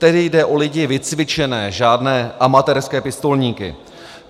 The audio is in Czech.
Tedy jde o lidi vycvičené, žádné amatérské pistolníky.